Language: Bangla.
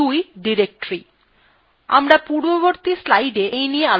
২ ডিরেক্টরী: আমরা পূর্ববর্তী slides এই নিয়ে আলোচনা করেছি